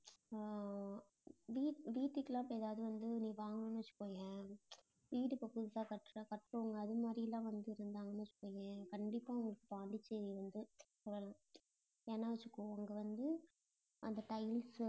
ஆஹ் வீட்டு~ வீட்டுக்கு எல்லாம் இப்ப எதாவது வந்து நீ வாங்குனேன்னு வச்சுக்கோயேன் வீடு இப்ப புதுசா கட்டற~ கட்டுறவங்க, அது மாதிரி எல்லாம் வந்திருந்தாங்கன்னு வெச்சுக்கோயேன், கண்டிப்பா உங்களுக்கு பாண்டிச்சேரி வந்து ஏன்னா வெச்சுக்கோ அங்க வந்து, அந்த tiles